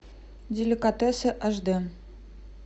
деликатесы аш д